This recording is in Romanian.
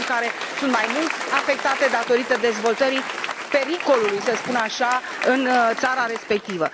Sunt țări care sunt mai mult afectate, datorită dezvoltării pericolului, să spun așa, în țara respectivă.